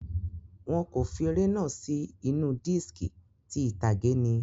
Wọn kò fi eré náà sì inú diski, ti ìtàgé ni.